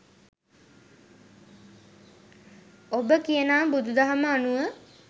ඔබ කියනා බුදු දහම අනුව